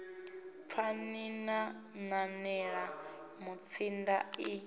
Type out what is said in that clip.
pfani na nanela mutsinda ḽi